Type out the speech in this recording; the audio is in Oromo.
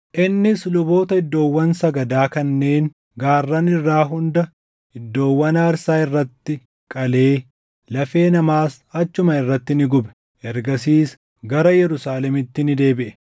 Innis luboota iddoowwan sagadaa kanneen gaarran irraa hunda iddoowwan aarsaa irratti qalee lafee namaas achuma irratti ni gube. Ergasiis gara Yerusaalemitti ni deebiʼe.